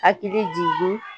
hakili jigin